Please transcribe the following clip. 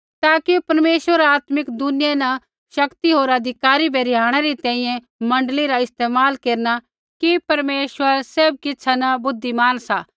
ताकि परमेश्वर आत्मिक दुनिया न शक्ति होर अधिकारी बै रिहाणै री तैंईंयैं मण्डली रा इस्तेमाल केरना कि परमेश्वर सैभ किछ़ा न बुद्धिमान सा